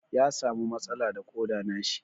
Ya samu matsala da Koda na shi.